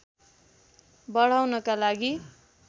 बढाउनका लागि